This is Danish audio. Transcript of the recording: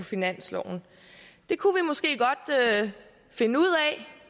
finansloven det kunne vi måske godt finde ud af